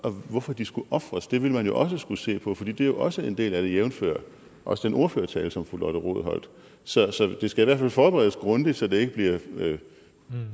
hvorfor de skulle ofres ville man jo også skulle se på fordi det er jo også en del af det jævnfør også den ordførertale som fru lotte rod holdt så det skal i hvert fald forberedes grundigt så det ikke bliver